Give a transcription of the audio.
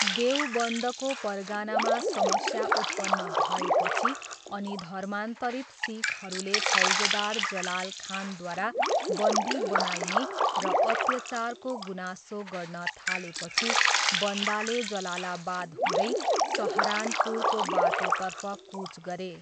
देवबन्दको परगनामा समस्या उत्पन्न भएपछि अनि धर्मान्तरित सिखहरूले फौजदार जलाल खानद्वारा बन्दी बनाइने र अत्याचारको गुनासो गर्न थालेपछि, बन्दाले जलालाबाद हुँदै सहारनपुरको बाटोतर्फ कुच गरे।